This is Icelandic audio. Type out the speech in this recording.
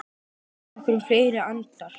Ég eyði nokkrum fleiri andar